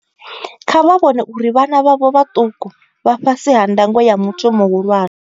Kha vha vhone uri vhana vhavho vhaṱuku vha fhasi ha ndango ya muthu muhulwane.